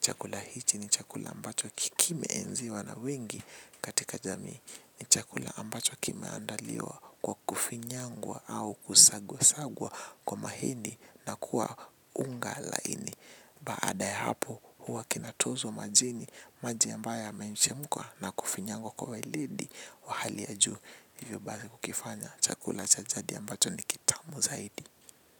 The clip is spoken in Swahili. Chakula hichi ni chakula ambacho ki kimeenziwa na wengi katika jamii. Ni chakula ambacho kimeandaliwa kwa kufinyangwa au kusagwa sagwa kwa mahindi na kuwa unga laini. Baada ya hapo huwa kinatozwa majini maji ambayo yamechemkwa na kufinyangwa kwa weledi wa hali ya juu. Hivyo basi kukifanya chakula cha jadi ambacho ni kitamu zaidi.